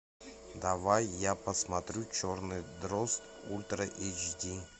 давай я посмотрю черный дрозд ультра эйч ди